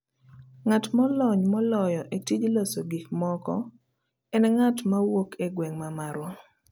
Ng'at molony moloyo e tij loso gik moko en ng'at mawuok e gweng ' mar marwa